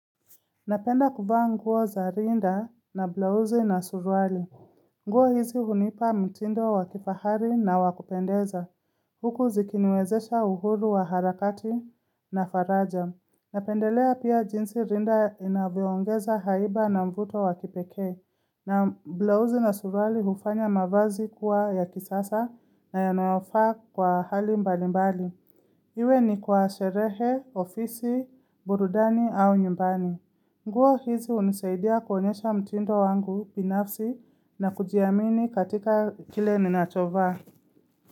Napenda kuvaa nguo za rinda na blauzi na suruali. Nguo hizi hunipa mtindo wa kifahari na wakupendeza. Huku zikiniwezesha uhuru wa harakati na faraja. Napendelea pia jinsi rinda inavyoongeza haiba na mvuto wa kipekee. Na blauzi na suruali hufanya mavazi kuwa ya kisasa na yanayofaa kwa hali mbali mbali. Iwe ni kwa sherehe, ofisi, burudani au nyumbani. Nguo hizi hunisaidia kuonyesha mtindo wangu binafsi na kujiamini katika kile ninachovaa.